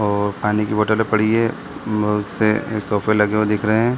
और पानी की बोतले पड़ी है बहुत से सोफे लगे हुए दिख रहे है।